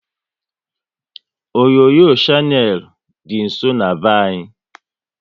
Onyonyo Shannel dị nsọ n'be anyị